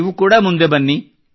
ನೀವು ಕೂಡಾ ಮುಂದೆ ಬನ್ನಿ